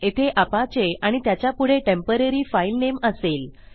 येथे अपाचे आणि त्याच्यापुढे टेम्पोररी फाईल नेम असेल